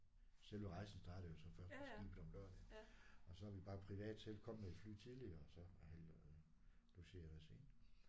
Selve rejsen startede jo så først på skibet om lørdagen og så er vi bare privat selv kommet med et fly tidligere og så har logeret os ind